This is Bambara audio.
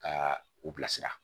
Ka u bila sira